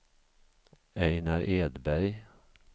Ejnar Edberg